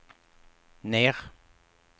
ner